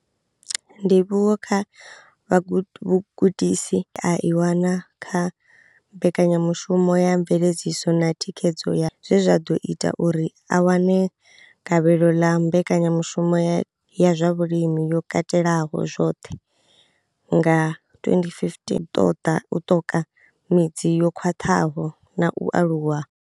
Ndivhuwo kha vhugudisi ye a i wana kha mbekanyamushumo ya mveledziso na Thikhedzo ya zwe zwa ḓo ita uri a wane gavhelo ḽa mbekanyamushumo ya ya zwa Vhulimi yo Katelaho zwoṱhe nga 2015, o ṱoḓa ṱoka midzi yo khwaṱhaho na u aluwa.